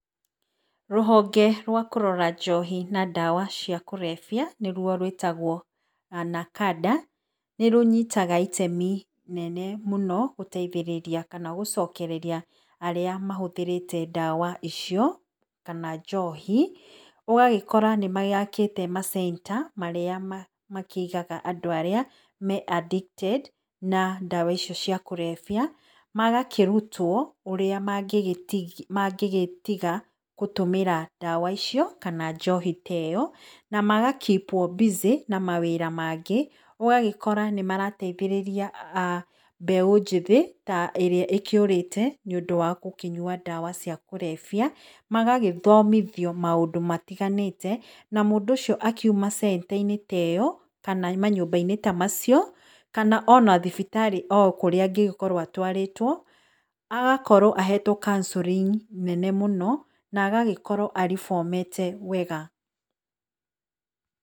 Rũhonge rwa kũrora njohi na ndawa cia kũrebia nĩrwo rwĩtagwo NACADA, nĩrũnyitaga itemi inene mũno gũteithĩrĩria kana gũcokereria arĩa mahũthĩrĩte ndawa icio, kana njohĩ, ũgagĩkora nĩmagĩakĩte ma center marĩa makĩigaga andũ aríĩ me addicted na ndawa icio cia kũrebia, magakĩrũtwo ũrĩa mangĩgitiga gũtũmĩra ndawa icio kana njohi ta ĩyo, namaga keep -wo busy na mawĩra mangĩ, ũgagĩkora nĩmarateithĩrĩria mbeũ njĩthĩ ĩrĩa ĩkiũrĩte nĩundũ wa gũkĩnywa ndawa cia kũrebia, magagĩthomithio maũndũ matĩganĩte na mũndũ ũcio akĩuma center-inĩ ta ĩyo kana manyũmba-inĩ ta macio, kana ona thibitarĩ ũkũrĩa angĩgĩkorwo atwarĩtwo, agakorwo ahetwo counselling nene mũno na agagĩkorwo arĩbomete wega.